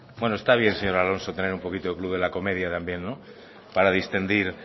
bueno está bien señor alonso tener un poquito del club de la comedia también para distender